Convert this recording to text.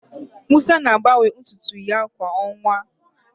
Musa na-agbanwe ntụ ntụ ya kwa ọnwa